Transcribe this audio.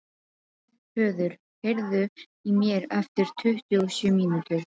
Höður, heyrðu í mér eftir tuttugu og sjö mínútur.